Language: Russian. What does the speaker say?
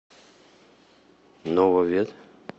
нововет